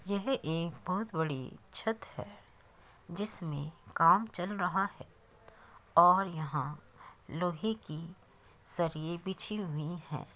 यह एक बहुत बड़ी छत है जिसमें काम चल रहा है और यहाँ लोहे की सरिये बिछी हुई हैं।